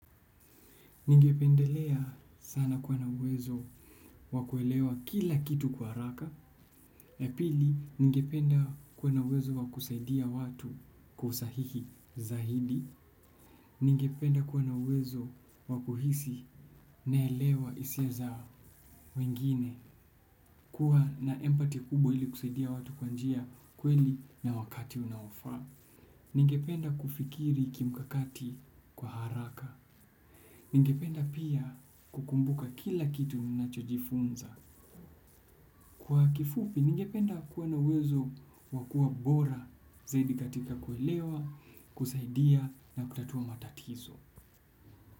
Ningependelea sana kuwa uwezo wakuelewa kila kitu kwa haraka. Pili, ningependa kuwa uwezo wakusaidia watu kwa usahihi zaidi. Ningependa kuwa na uwezo wakuhisi naelewa hisia za wengine kuwa na empathy kubwa ili kusaidia watu kwa njia kweli na wakati unaofaa. Ningependa kufikiri kimkakati kwa haraka. Ningependa pia kukumbuka kila kitu ninachojifunza. Kwa kifupi, ningependa kuwa na uwezo wa kuwa bora zaidi katika kuelewa, kusaidia na kutatua matatizo.